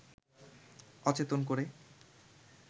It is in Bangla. অচেতন করে